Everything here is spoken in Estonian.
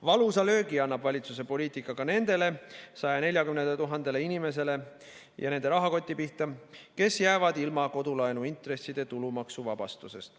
Valusa löögi annab valitsuse poliitika ka nende 140 000 inimese rahakoti pihta, kes jäävad ilma kodulaenu intresside tulumaksuvabastusest.